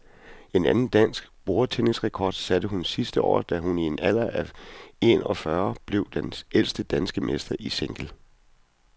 En anden dansk bordtennisrekord satte hun sidste år, da hun i en alder af en og fyrre år blev den ældste danske mester i single.